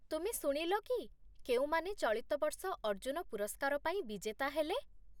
ତୁମେ ଶୁଣିଲ କି କେଉଁମାନେ ଚଳିତ ବର୍ଷ ଅର୍ଜୁନ ପୁରସ୍କାର ପାଇଁ ବିଜେତା ହେଲେ?